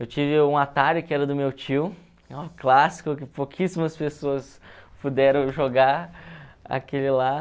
Eu tive um Atari que era do meu tio, um clássico que pouquíssimas pessoas puderam jogar, aquele lá.